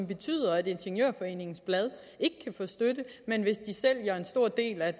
betyder at ingeniørforeningens blad ikke kan få støtte men hvis de sælger en stor del af